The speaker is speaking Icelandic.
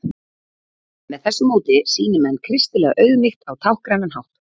með þessu móti sýni menn kristilega auðmýkt á táknrænan hátt